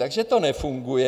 Takže to nefunguje.